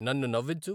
నన్ను నవ్వించు